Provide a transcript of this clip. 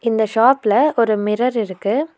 இந்த ஷாப்ல ஒரு மிரர் இருக்கு.